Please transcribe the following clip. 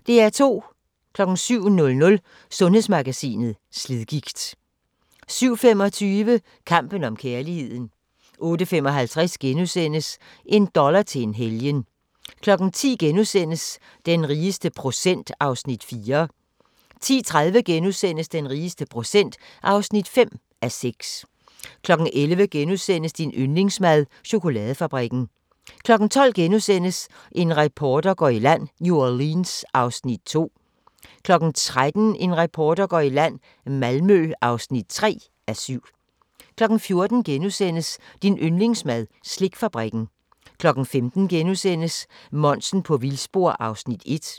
07:00: Sundhedsmagasinet: Slidgigt 07:25: Kampen om kærligheden 08:55: En dollar til en helgen * 10:00: Den rigeste procent (4:6)* 10:30: Den rigeste procent (5:6)* 11:00: Din yndlingsmad: Chokoladefabrikken * 12:00: En reporter går i land: New Orleans (2:7)* 13:00: En reporter går i land: Malmø (3:7) 14:00: Din yndlingsmad: Slikfabrikken * 15:00: Monsen på vildspor (1:5)*